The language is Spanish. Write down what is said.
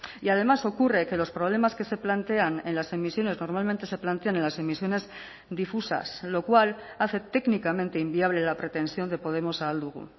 y además ocurre que los problemas que se plantean en las emisiones normalmente se plantean en las emisiones difusas lo cual hace técnicamente inviable la pretensión de podemos ahal dugu